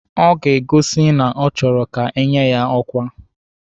Ọ ga-egosi na ọ chọrọ ka enye ya ọkwa.